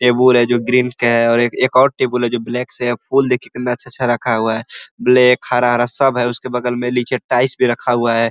Table है जो green के है। एक और टेबल है जो ब्लैक से है। फूल देखिये कितना अच्छा-अच्छा रखा हुआ है ब्लैक हरा हरा सब है। उसके बगल में नीचे टाइल्स भी रखा हुआ है ।